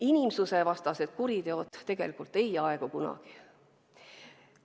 Inimsusvastased kuriteod ei aegu kunagi.